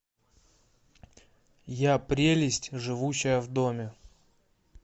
я прелесть живущая в доме